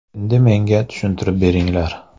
Endi ‘Menga tushuntirib beringlar.